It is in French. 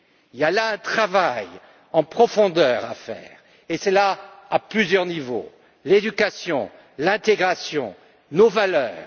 Il y a là un travail en profondeur à faire et cela, à plusieurs niveaux l'éducation, l'intégration, nos valeurs.